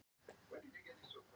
Leó Ernir Reynisson, Fylki